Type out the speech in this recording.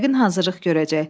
Yəqin hazırlıq görəcək.